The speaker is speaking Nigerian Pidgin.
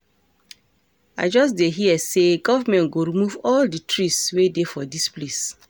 I just dey hear say government go remove all the trees wey dey for dis place